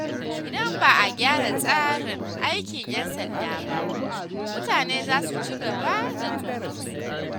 Idan ba a gyara tsarin aikin ‘yan sanda ba, mutane za su ci gaba da tsoronsu.